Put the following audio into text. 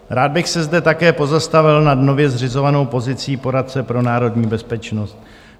Rád bych se zde také pozastavil nad nově zřizovanou pozicí poradce pro národní bezpečnost.